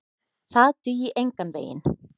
Það dugi engan veginn.